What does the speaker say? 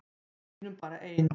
Við sýnum bara ein